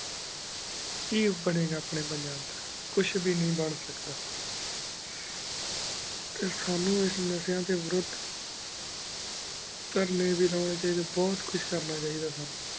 ਕੀ ਬਨੀੰ ਘ ਅਪਨ੍ਯਨ ਪੰਜਾਬ ਦਾ ਕੁਛ ਵੀ ਨੀ ਬੇਨ ਸਕਦਾ ਟੀ ਸਾਨੂ ਏਸ ਨਾਸ਼ੇਯਾਂ ਡੀਨ ਵਾਰੂਦ ਤਾਰ੍ਨ੍ਯਨ ਵੀ ਲੁਨ੍ਯਨ ਚਾਹੀ ਡੀ ਬੁਹਤ ਕੁਛ ਕਰਨਾ ਚਾਹੀ ਦਾ ਆਯ